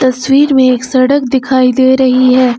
तस्वीर में एक सड़क दिखाई दे रही है।